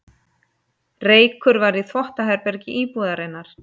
Reykur var í þvottaherbergi íbúðarinnar